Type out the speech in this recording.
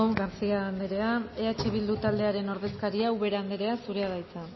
garcia andrea eh bildu taldearen ordezkaria ubera andrea zurea da hitza